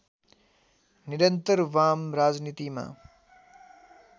निरन्तर वाम राजनीतिमा